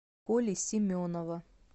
коли семенова